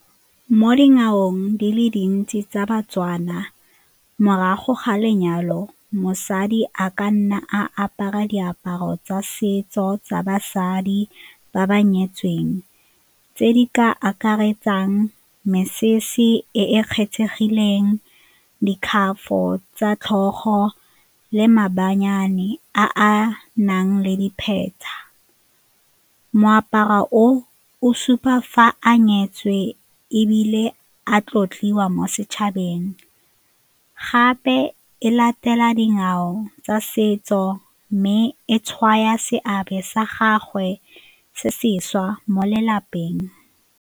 Mo dinakong di le dintsi tsa ba-Tswana, morago ga lenyalo mosadi a ka nna a apara diaparo tsa setso tsa basadi ba ba nyetsweng tse di ka akaretsang mesese e e kgethegileng, tsa tlhogo le a a nang le dipheta. Moaparo o o supa fa a nyetswe ebile a tlotliwa mo setšhabeng gape e latela dingwao tsa setso mme e tshwaya seabe sa gagwe se sešwa mo lelapeng.